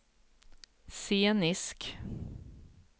scenisk